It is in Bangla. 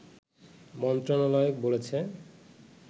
মন্ত্রণালয় বলেছে